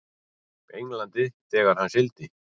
Englandi þegar hann sigldi.